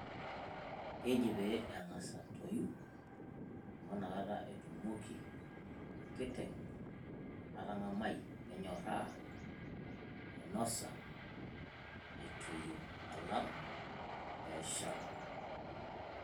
Keji pee eng`as atoyu amu ina kata etumoki enkiteng atang`amai anyorraa ainosa etoyio enaa eshal.